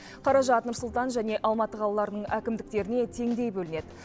қаражат нұр сұлтан және алматы қалаларының әкімдіктеріне теңдей бөлінеді